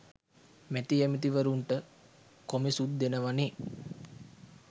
මැති ඇමති වරුන්ට කොමිසුත් දෙනවනේ